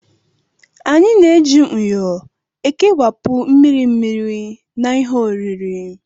Anyị na-eji myo ekewapụ mmiri mmiri na ihe oriri